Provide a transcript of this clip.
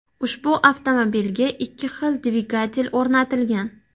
Ushbu avtomobilga ikki xil dvigatel o‘rnatilgan.